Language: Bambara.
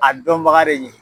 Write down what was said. A dɔn baga de ye